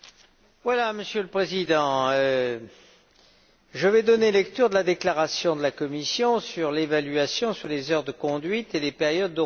Monsieur le Président, je vais donner lecture de la déclaration de la Commission concernant l'évaluation sur les heures de conduite et les périodes de repos.